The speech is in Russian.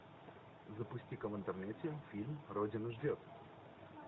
запусти ка в интернете фильм родина ждет